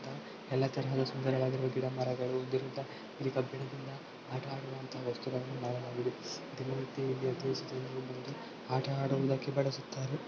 ಎಲ್ಲಾ ತರಹದ ಸುಂದರವಾಗಿರುವ ಗಿಡ ಮರಗಳು ಇರುವುದರಿಂದ ಇಲ್ಲಿ ಕಬ್ಬಿಣದಿಂದ ಆಟ ಆಡೋ ವಸ್ತುಗಳನ್ನು ಕಾಣಬಹುದು. ದಿನನಿತ್ಯ ಇಲ್ಲಿ ಅತಿ ಎಚ್ಚು ಜನರು ಬಂದು ಆಟ ಆಡುವುದಕ್ಕೆ ಬಳಸುತ್ತಾರೆ.